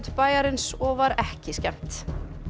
bæjarins og var ekki skemmt